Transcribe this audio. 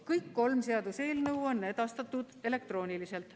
Kõik kolm seaduseelnõu on edastatud elektrooniliselt.